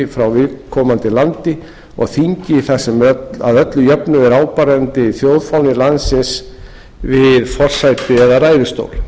frá viðkomandi landi og þingi þar sem að öllu jöfnu er áberandi þjóðfáni landsins við forsæti eða ræðustól